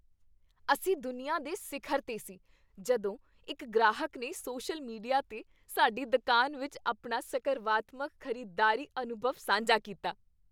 ਅਸੀਂ ਦੁਨੀਆ ਦੇ ਸਿਖਰ 'ਤੇ ਸੀ ਜਦੋਂ ਇੱਕ ਗ੍ਰਾਹਕ ਨੇ ਸੋਸ਼ਲ ਮੀਡੀਆ 'ਤੇ ਸਾਡੀ ਦੁਕਾਨ ਵਿੱਚ ਆਪਣਾ ਸਕਰਵਾਤਮਕ ਖ਼ਰੀਦਦਾਰੀ ਅਨੁਭਵ ਸਾਂਝਾ ਕੀਤਾ।